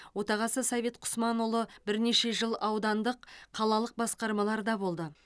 отағасы совет құсманұлы бірнеше жыл аудандық қалалық басқармаларда болды